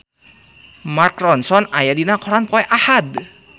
Mark Ronson aya dina koran poe Ahad